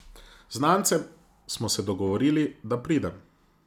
Z znancem smo se dogovorili, da pridem.